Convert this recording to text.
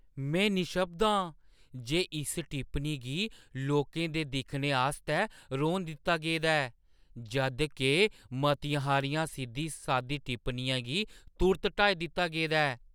मैं निशब्द आं जे इस टिप्पनी गी लोकें दे दिक्खने आस्तै रौह्‌न दित्ता गेदा ऐ, जद के मती हारियें सिद्धी-सादी टिप्पणियें गी तुर्त हटाई दित्ता गेदा ऐ।